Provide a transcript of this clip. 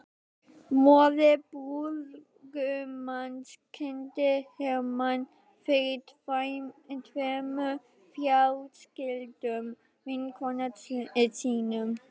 Móðir brúðgumans kynnti Hermann fyrir tveimur fráskildum vinkonum sínum.